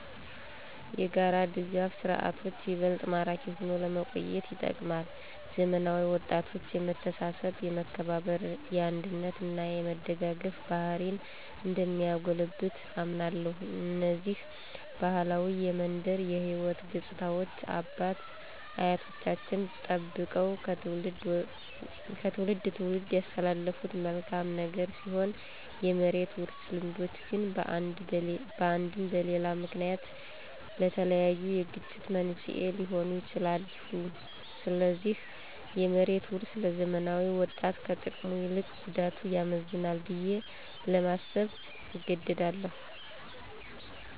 የጋራ ድጋፍ ስርዓቶች ይበልጥ ማራኪ ሆኖ ለመቆየት ይጠቅማል። ለዘመናዊ ወጣቶች የመተሳሰብ፣ የመከባበር፣ የአንድነት እና የመደጋገፍ ባህሪን እንደሚያጎለብት አምናለሁ። እነዚህ ባህላዊ የመንደር የሕይወት ገፅታዎች አባት አያቶቻችን ጠበቀው ከትውልድ ትውልድ ያስተላለፉት መልካም ነገር ሲሆን የመሬት ውርስ ልምዶች ግን በአንድም በሌላ ምክንያት ለተለያዩ የግጭት መንስኤ ሊሆኑ ይችላሉ። ስለዚህ የመሬት ውርስ ለዘመናዊ ወጣት ከጥቅሙ ይልቅ ጉዳቱ ያመዝናል ብዬ ለማሰብ እገደዳለሁ።